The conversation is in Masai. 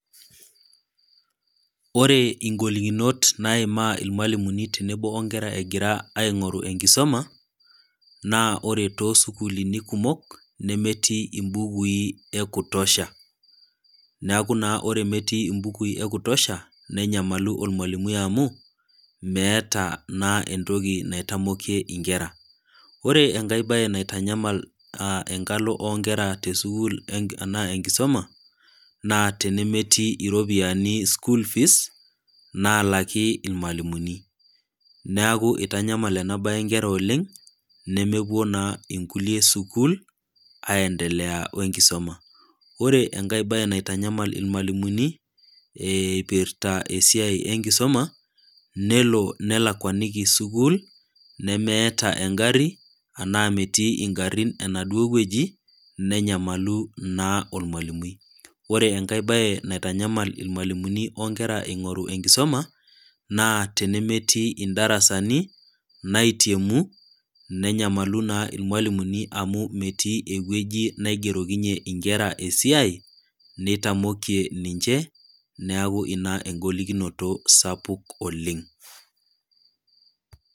Ore ingolikinot naimaa ilwalimuni tenebo onkera egira aing'oru enkisoma, naa ore too isukulini kumok, nemetii imbukui ekutosha, neaku ore naa metii imbukui ekutosha, nenyamalu olmwalimui amu, meata naa entoki naitamokie inkera. Ore enkai baye naitanyamal enkalo o nkera te sukuul anaa enkisuma, naa tenemetii iropiani school fees, naalaki ilmwalimuni. Neaku eitanyamal ena toki inkera oleng', nemepuo naa inkulie sukuul, aendelea we enkisoma. Ore enkai baye naitanyamal ilmwalimuni, eipirta esiai enkisoma, nelo nelakwaniki sukuul, nemeata engari anaa metii ingarin enaduo wueji, nenyamalu naa olmwalimui. Ore enkai baye naitanyamal ilwalimuni o nkera eingoru enkisoma, naa tenemetii indarasani, naitiemu, nenyamalu naa ilmwalimuni naa amu metii ewueji naigerokinye inkera esiai, neitamokie ninche, neaku naa nena ingolikinot sapukin oleng'.